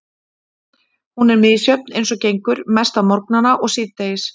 Hún er misjöfn eins og gengur, mest á morgnana og síðdegis.